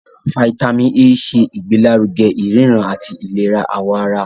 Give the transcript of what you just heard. Fítámìnì A ṣe ìgbélárugẹ ìríran àti ìlera àwọ̀ ara.